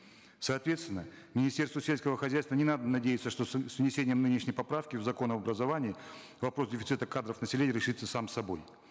соответственно министерству сельского хозяйства не надо надеяться что с внесением нынешней поправки в закон об образовании вопрос дефицита кадров населения решится сам собой